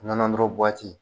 Nɔnɔ noro buwati